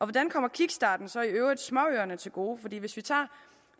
hvordan kommer kickstarten så i øvrigt småøerne til gode for hvis vi tager